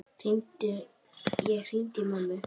Ég hringdi í mömmu.